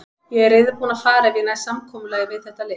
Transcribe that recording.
Ég er reiðubúinn að fara ef ég næ samkomulagi við þetta lið.